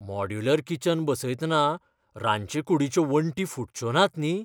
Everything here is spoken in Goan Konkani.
मॉड्युलर किचन बसयतना रांदचे कुटीच्यो वण्टी फुटच्यो नात न्ही?